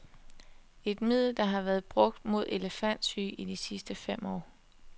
Et middel, der har været brugt mod elefantsyge i de sidste fem år.